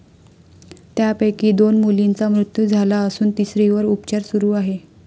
त्यापैकी दोन मुलींचा मृत्यू झाला असून तिसरीवर उपचार सुरू आहे.